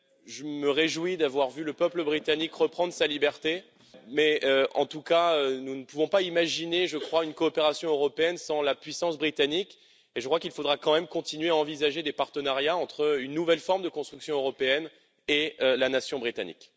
Je me réjouis d'avoir vu le peuple britannique reprendre sa liberté, mais en tout cas, nous ne pouvons pas imaginer une coopération européenne sans la puissance britannique et je crois qu'il faudra quand même continuer à envisager des partenariats entre une nouvelle forme de construction européenne et la nation britannique.